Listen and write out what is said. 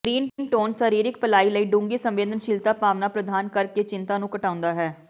green tones ਸਰੀਰਕ ਭਲਾਈ ਲਈ ਡੂੰਘੀ ਸੰਵੇਦਨਸ਼ੀਲ ਭਾਵਨਾ ਪ੍ਰਦਾਨ ਕਰਕੇ ਚਿੰਤਾ ਨੂੰ ਘਟਾਉਂਦਾ ਹੈ